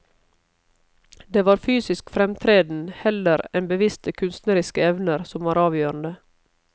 Det var fysisk fremtreden heller enn bevisste kunstneriske evner som var avgjørende.